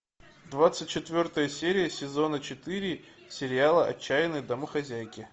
двадцать четвертая серия сезона четыре сериала отчаянные домохозяйки